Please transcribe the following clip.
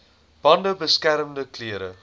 bande beskermende klere